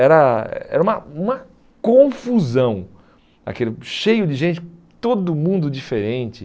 Era era uma uma confusão, aquilo cheio de gente, todo mundo diferente.